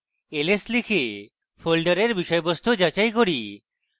ls লিখে folder বিষয়বস্তু যাচাই করি